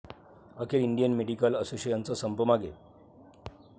अखेर Indian medical असोसिएशनचा संप मागे